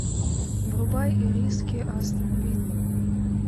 врубай ириски астон вилла